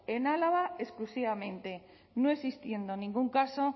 en álava exclusivamente no existiendo ningún caso